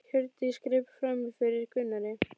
Hjördís greip fram í fyrir Gunnari.